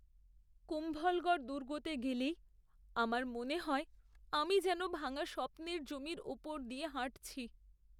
কুম্ভলগড় দুর্গতে গেলেই আমার মনে হয় আমি যেন ভাঙা স্বপ্নের জমির ওপর দিয়ে হাঁটছি।